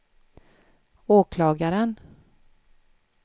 åklagaren